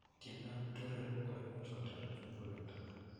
Tientap tureru kuimuchei kutorit mukulelto.